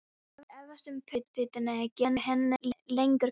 Ég efast um að púrtvín geri henni lengur gott.